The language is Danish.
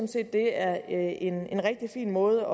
set det er en en rigtig fin måde